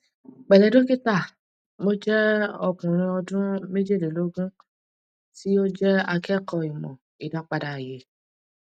pẹlẹ dókítà mo jẹ ọkùnrin ọdún mejeleloogun tí ó jẹ akẹkọọ ìmọ ìdápadà ayé